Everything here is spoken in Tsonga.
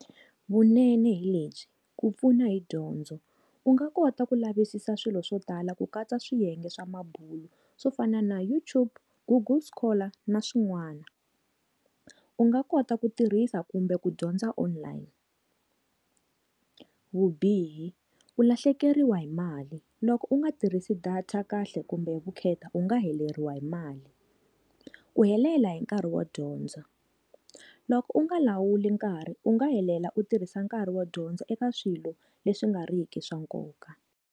Vunene hi lebyi, ku pfuna hi dyondzo u nga kota ku lavisisa swilo swo tala ku katsa swiyenge swa mabulo swo fana na YouTube, google scholar na swin'wana. U nga kota ku tirhisa kumbe ku dyondza online. Vubihi, u lahlekeriwa hi mali loko u nga tirhisi data kahle kumbe vukheta u nga heleriwe hi mali u helela hi nkarhi wo dyondza loko u nga lawula nkarhi u nga helela u tirhisa nkarhi wo dyondza eka swilo leswi nga riki swa nkoka.